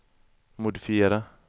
modifiera